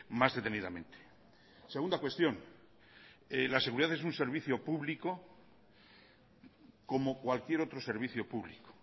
más detenidamente segunda cuestión la seguridad es un servicio público como cualquier otro servicio público